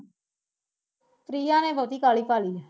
ਪ੍ਰਿਆ ਨੇ ਬਹੁਤੀ ਕਾਹਲੀ ਕਰਲੀ